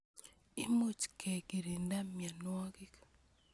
Imuch ke kirinda mianwogik